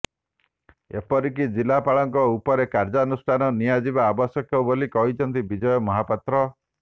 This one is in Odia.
ଏପରିକି ଜିଲ୍ଲାପାଳଙ୍କ ଉପରେ କାର୍ଯ୍ୟାନୁଷ୍ଠାନ ନିଆଯିବା ଆବଶ୍ୟକ ବୋଲି କହିଛନ୍ତି ବିଜୟ ମହାପାତ୍ର